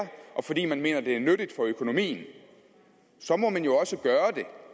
og fordi man mener det er nyttigt for økonomien så må man jo også gøre det